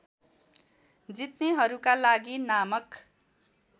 जित्नेहरूका लागि नामक